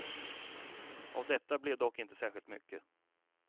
Av detta blev dock inte särskilt mycket.